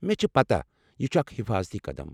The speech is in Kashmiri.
مےٚ چھ پتاہ، یہِ چُھ اکھ حِفاظتی قدم۔